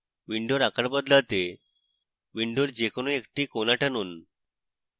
window আকার বদলাতে window যে কোনো একটি corner টানুন